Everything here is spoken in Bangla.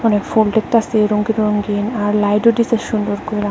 অনেক ফুল দেখতাসি রঙ্গিন রঙ্গিন আর লাইটও দিসে সুন্দর কইরা।